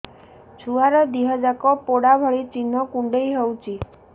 ଛୁଆର ଦିହ ଯାକ ପୋଡା ଭଳି ଚି଼ହ୍ନ କୁଣ୍ଡେଇ ହଉଛି